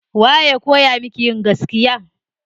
Waye ya kowa miki yin gaskiya.